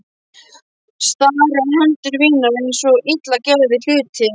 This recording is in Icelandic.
Stari á hendur mínar eins og illa gerða hluti.